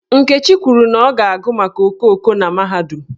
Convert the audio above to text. Nkechi kwuru na ọ ga-agụ maka okooko na mahadum.